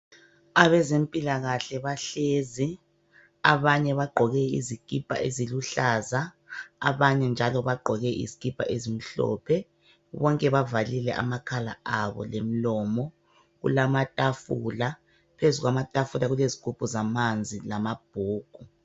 Abezempilakahle bahlezi, abanye bagqoke izikipa eziluhlaza abanye njalo bagqoke izikipa ezimhlophe, bonke bavalile amakhala abo lomlomo, kulamatafula phezulu kwamatafula kulezigubhu zamanzi lamabhuku.